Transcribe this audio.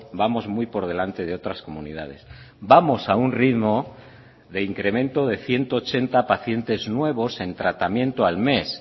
vamos muy por delante de otras comunidades vamos a un ritmo de incremento de ciento ochenta pacientes nuevos en tratamiento al mes